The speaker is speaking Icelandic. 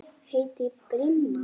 Ég heiti Brimar.